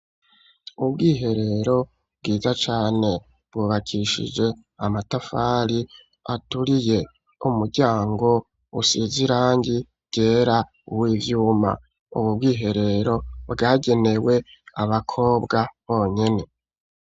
Ubwiherero bwiza cane, bwubakishije amatafari aturiye; umuryango usize irangi ryera, w'ivyuma; ubwo bwiherero, bwagenewe abakobwa bonyene.